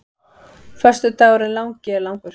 Föstudagurinn langi er langur.